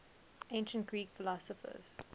ancient greek philosophers